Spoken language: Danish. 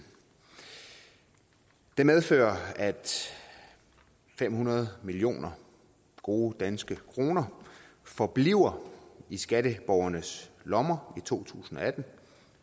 det medfører at fem hundrede millioner gode danske kroner forbliver i skatteborgernes lommer i to tusind og atten